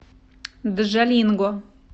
джалинго